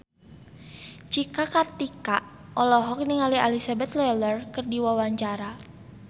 Cika Kartika olohok ningali Elizabeth Taylor keur diwawancara